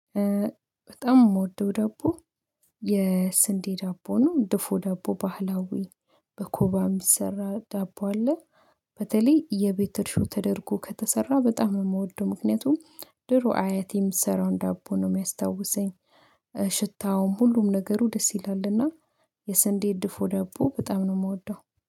በጣም የምወደው ዳቦ የስንዴ ዳቦ ነው ድፉ ዳቦ ባህላዊ በኮባ የሚሰራ ዳቦ አለ። በተለይ የቤተእርሾ ተደርጎ ከተሰራ በጣም የምወደው ምክንያቱም ድሮ አያቴ የምትሰራውን ዳቦ ነው የሚያስታውሰኝ ሽታውም ሁሉም ነገሩ ደስ ይላልና። የስንዴ ድፎ ደቦ በጣም ነው የምወደው